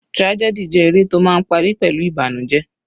Tragedy jẹ́ eré tó máa ń parí pẹ̀lú ìbànújẹ.